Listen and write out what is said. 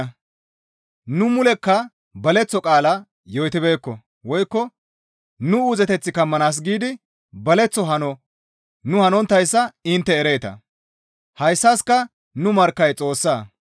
Nu mulekka baleththo qaala yootibeekko woykko nu uuzeteth kammanaas giidi baleththo hano nu hanonttayssa intte ereeta; hayssaska nu markkay Xoossa.